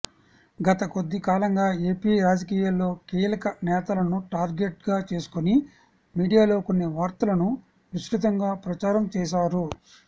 గత కొద్దికాలంగా ఏపీ రాజకీయాల్లో కీలక నేతలను టార్గెట్గా చేసుకొని మీడియాలో కొన్ని వార్తలను విస్తృతంగా ప్రచారం చేశారు